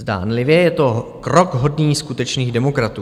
Zdánlivě je to krok hodný skutečných demokratů.